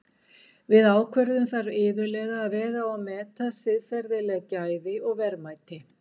Við ákvörðun þarf iðulega að vega og meta siðferðileg gæði og verðmæti.